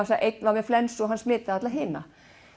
einn var með flensu og smitaði alla hina